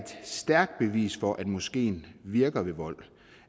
stærkt bevis for at moskeen virker ved vold